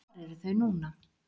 Hvar eru þau núna?